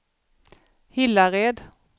Hillared